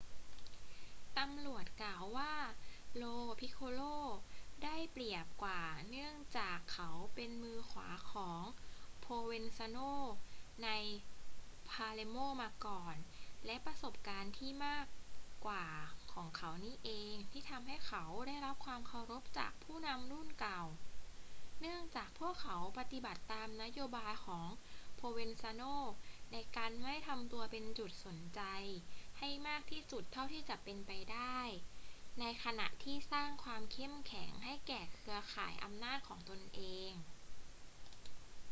ตำรวจกล่าวว่า lo piccolo ได้เปรียบกว่าเนื่องจากเขาเป็นมือขวาของ provenzano ใน palermo มาก่อน และประสบการณ์ที่มากกว่าของเขานี่เองที่ทำให้เขาได้รับความเคารพจากผู้นำรุ่นเก่า เนื่องจากพวกเขาปฏิบัติตามนโยบายของ provenzano ในการไม่ทำตัวเป็นจุดสนใจให้มากที่สุดเท่าที่จะเป็นไปได้ ในขณะที่สร้างความเข้มแข็งให้แก่เครือข่ายอำนาจของตนเอง